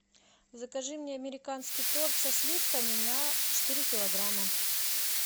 закажи мне американский торт со сливками на четыре килограмма